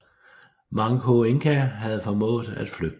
Manco Inca havde formået at flygte